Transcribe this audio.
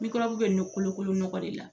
Mikɔrɔbu be nɔ kolokolo nɔgɔ de la